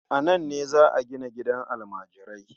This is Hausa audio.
Nan ne za a gina gidan almajirai.